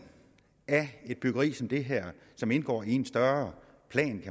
af et byggeri som det her som indgår i en større plan